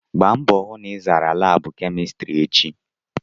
Gbaa mbọ hụ na ị zara laabụ kemịstrị echi!